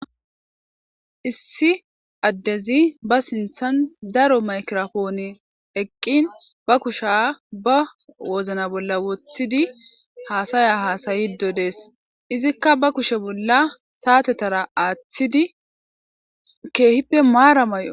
Issi adezi ba sinththan daaro maykkiraponey eqqin ba kushsha ba woozina bolla woththidi hasaya hassiddo dessi iizikka ba kushshe bolla sa'attetara aathidi kehippe maara mayo...